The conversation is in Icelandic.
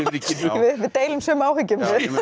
við deilum sömu áhyggjum